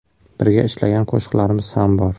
Birga ishlagan qo‘shiqlarimiz ham bor.